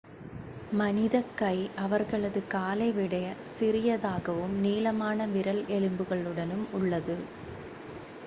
மனிதக் கை அவர்களது காலை விடச் சிறியதாகவும் நீளமான விரல் எலும்புகளுடனும் உள்ளது